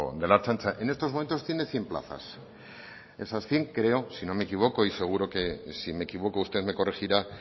de la ertzaintza en estos momentos tiene cien plazas esas cien creo si no me equivoco y seguro que si me equivoco usted me corregirá